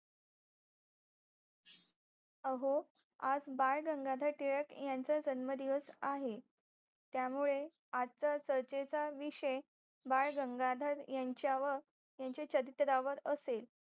अहो आज बाळ गंगाधर टिळक यांचा जन्मदिवस आहे त्यामुळे आजचा चर्चेचा विषय बाळ गंगाधर यांच्यावर यांच्या चरित्रावर असेल